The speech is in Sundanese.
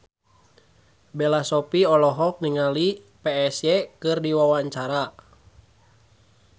Bella Shofie olohok ningali Psy keur diwawancara